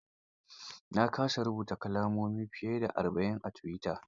Na kasa rubuta kalmomi fiye da arba'in a tuwita.